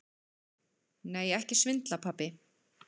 Nei, ekki svindla, pabbi.